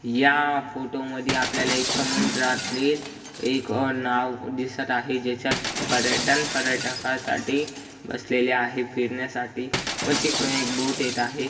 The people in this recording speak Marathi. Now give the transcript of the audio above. या फोटो मधी आपल्याला एक समुद्रातील एक अं नाव दिसत आहे ज्याच्यात पर्यटन पर्यटकासाठी बसलेले आहे फिरण्यासाठी व तिकडे एक बोट येत आहे.